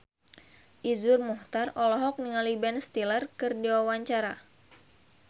Iszur Muchtar olohok ningali Ben Stiller keur diwawancara